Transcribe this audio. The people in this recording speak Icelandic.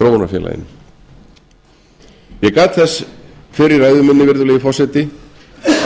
þróunarfélaginu ég gat þess fyrr í ræðu minni virðulegi forseti